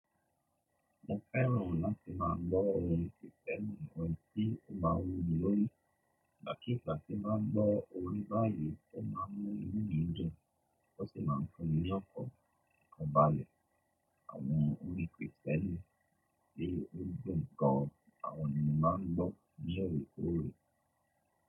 Mo fẹ́ràn láti má a gbọ́ orin Kristẹni, orin tí ó má a wuni lórí, igba kigba tí bá gbọ́ orin báyìí, ó má a mú inú mi dùn, ó sì má a ń fun ni ọkan, ọkan bàálẹ̀. Àwọn orin Kristẹni le dún ń gan àwọn iyen ńi má a gbọ́ ní orekoore.